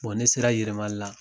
Bɔn ne sera yɛrɛmali la